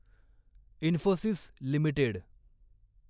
Infosys limited